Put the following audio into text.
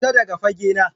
Fita daga fage na